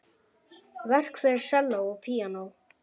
Verk fyrir selló og píanó.